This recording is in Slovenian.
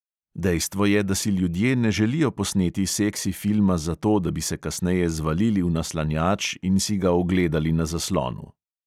Dejstvo je, da si ljudje ne želijo posneti seksi filma zato, da bi se kasneje zvalili v naslanjač in si ga ogledali na zaslonu.